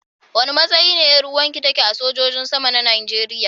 Wanda matsayi be yaruwan ki take a sojoji sama na Najeriya.